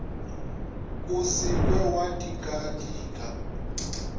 o se ke wa dikadika